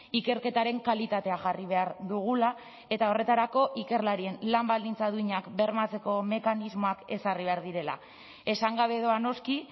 ikerketaren kalitatea jarri behar dugula eta horretarako ikerlarien lan baldintza duinak bermatzeko mekanismoak ezarri behar direla esan gabe doa noski